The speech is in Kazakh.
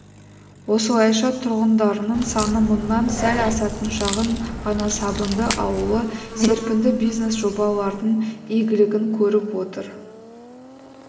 осылайша тұрғындарының саны мыңнан сәл асатын шағын ғана сабынды ауылы серпінді бизнес жобалардың игілігін көріп отыр